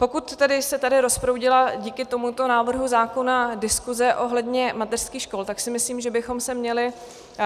Pokud se tady rozproudila díky tomuto návrhu zákona diskuse ohledně mateřských škol, tak si myslím, že bychom se měli